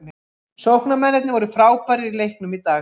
Sóknarmennirnir voru frábærir í leiknum í dag.